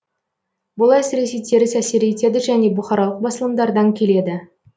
бұл әсіресе теріс әсер етеді және бұқаралық басылымдардан келеді